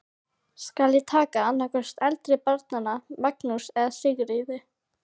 Skal ég taka annað hvort eldri barnanna, Magnús eða Sigríði.